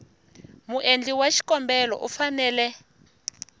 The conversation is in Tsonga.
muendli wa xikombelo u fanele